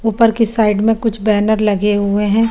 उपर की साइड में कुछ बेनर लगे हुए हैं।